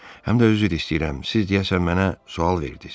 Həm də üzr istəyirəm, siz deyəsən mənə sual verdiz.